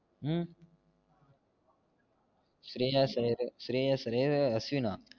ஹம் ஷ்ரேயஸ் அய்யர் ஷ்ரேயஸ் அய்யரு அஸ்வினா